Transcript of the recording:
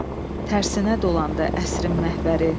Tərsinə dolandı əsrin məhvəri.